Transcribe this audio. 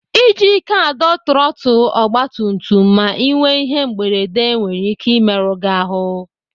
Iji ike adọ trọtụl ọgbatumtum ma Ị nwee ihe mberede nwere ike imerụ gị ahụ.